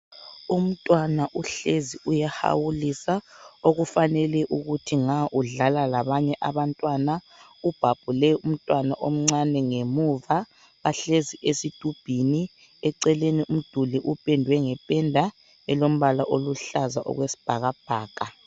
Umntwana uhlezi uyahawulisa. Okufanele ukuthi nga udlala labanye abantwana. Ubhabhule umntwana omncane ngemuva. Bahlezi esithumbini. Eceleni umduli uphendwe ngephenda eluhlaza okwesibhakabhaka.